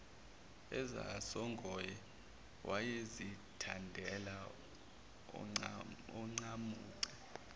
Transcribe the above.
ezasongoye wayezithandela oncamunce